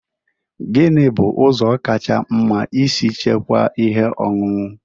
Gini bu ụzọ kacha mma isi chekwaa ihe ọṅụṅụ?